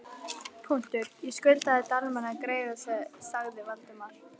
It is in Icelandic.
. ég skuldaði Dalmann greiða sagði Valdimar.